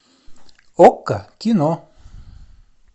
окко кино